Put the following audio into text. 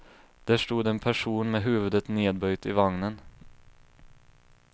Där stod en person med huvudet nedböjt i vagnen.